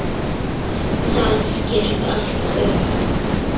Það gekk allt upp.